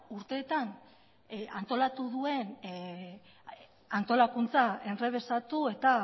urteetan antolatu duen antolakuntza enrebesatu eta